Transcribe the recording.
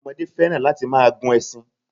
Ọmọdé fẹ́ràn láti máa gun ẹṣin.